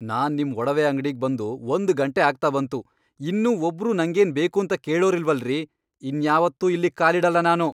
ನಾನ್ ನಿಮ್ ಒಡವೆ ಅಂಗ್ಡಿಗ್ ಬಂದು ಒಂದ್ ಗಂಟೆ ಆಗ್ತಾ ಬಂತು, ಇನ್ನೂ ಒಬ್ರೂ ನಂಗೇನ್ ಬೇಕೂಂತ ಕೇಳೋರಿಲ್ವಲ್ರೀ! ಇನ್ಯಾವತ್ತೂ ಇಲ್ಲಿಗ್ ಕಾಲಿಡಲ್ಲ ನಾನು.